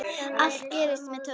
Allt gerist með töfrum.